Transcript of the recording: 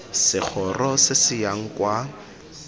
segoro se se yang kwa